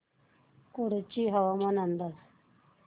कुडची हवामान अंदाज